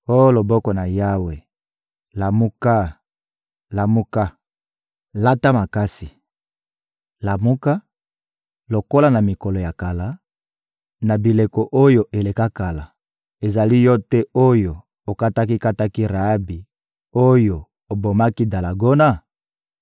Oh loboko na Yawe, lamuka, lamuka! Lata makasi! Lamuka, lokola na mikolo ya kala, na bileko oyo eleka kala! Ezali Yo te oyo okataki-kataki Raabi, oyo obomaki dalagona?